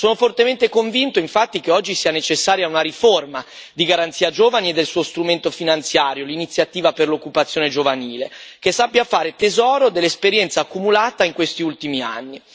Sono fortemente convinto, infatti, che oggi sia necessaria una riforma di Garanzia giovani e del suo strumento finanziario, l'Iniziativa per l'occupazione giovanile, che sappia fare tesoro dell'esperienza accumulata in questi ultimi anni.